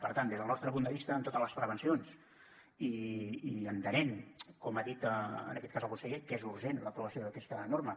per tant des del nostre punt de vista amb totes les prevencions i entenent com ha dit en aquest cas el conseller que és urgent l’aprovació d’aquesta norma